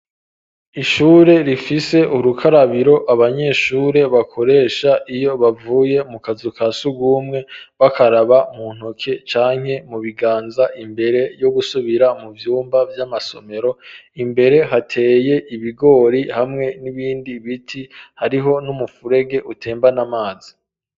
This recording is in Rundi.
Ishure rifise urukarabiro abanyeshure bakoresha iyo bavuye mu kazu ka surwumwe bakaraba mu ntoke canke mu biganza imbere yo gusubira mu vyumba vy'amasomero, imbere hateye ibigori hamwe n'ibindi biti, hariho n'umufurege utembana amazi.